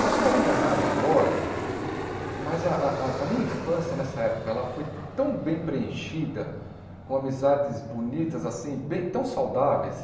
Posso estar enganado agora, mas a a a minha infância, nessa época, ela foi tão bem preenchida, com amizades bonitas, assim, bem tão saudáveis,